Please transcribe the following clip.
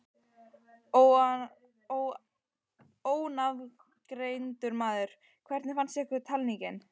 Ónafngreindur maður: Hvernig fannst ykkur talningin?